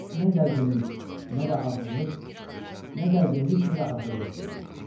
Nə gərginlik, nə də ağırlıq, nə gərginlik, nə də ağırlıq duydu.